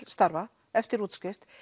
starfa eftir útskrift